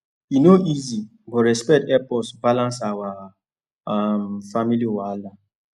e no easy but respect help us balance our um family wahala